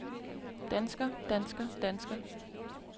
dansker dansker dansker